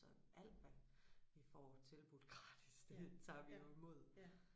Så alt hvad vi får tilbudt gratis det tager vi jo imod